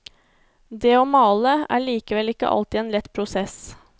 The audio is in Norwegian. Det å male er likevel ikke alltid en lett prosess.